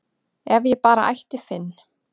ef ég bara ætti Finn